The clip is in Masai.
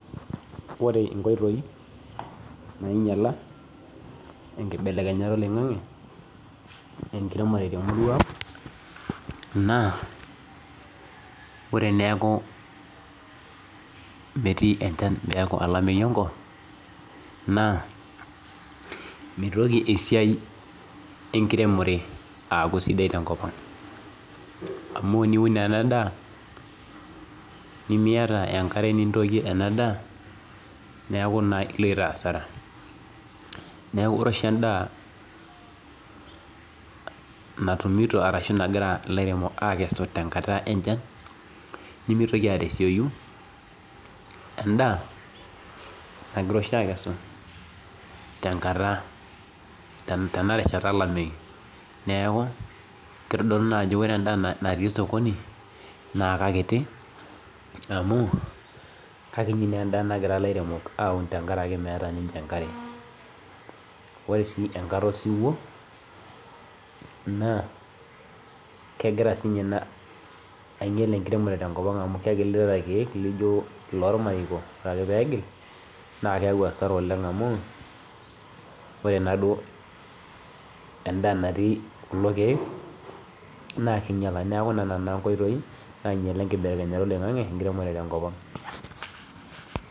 Ore inkoitoi nainyiala enkibelekenyata oloing'ange tenkiremore naa ore neeku metii enchan neeku olameyu enkop naa meeitoko esiai enkiremore aaku sidai tenkop neeku ore oshi endaa. Natumito tenkata wenchan nemeitoki arishiyu tenkata olameyu neeku keitodolu ajo ore endaa natii soki naa keikiti amu keikiti endaaa nagira akesu tenkari meeta enkare ore sii osiwuo naa kegira sii ninye ina ainyial enkiremore amu kegilita irkiek naa ore ake peegil naa keeku ore enaduo endaa natii kulo kiek naa keinyiala neeku nena naa inkoitoi nainyiala enkiremore oloing'ange tenkop ang